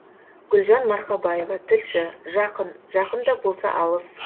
гүлжан марқабаева тілші жақын жақын да болса алыс